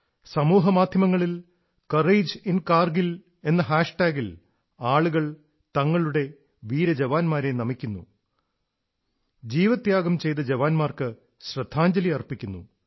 സാമൂഹ്യമാധ്യമങ്ങളിൽ കോറേജിൻകാർഗിൽ എന്ന ഒരു ഹാഷ്ടാഗിൽ ആളുകൾ തങ്ങളുടെ വീരന്മാരെ നമിക്കുന്നു ബലിദാനികൾക്ക് ശ്രദ്ധാഞ്ജലി അർപ്പിക്കുന്നു